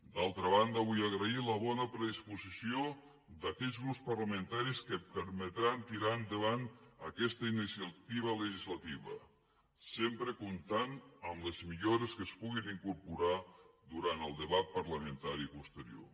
d’altra banda vull agrair la bona predisposició d’aquells grups parlamentaris que permetran tirar endavant aquesta iniciativa legislativa sempre comptant amb les millores que es puguin incorporar durant el debat parlamentari posterior